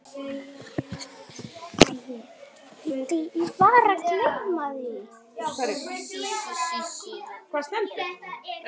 En ég veit ekki.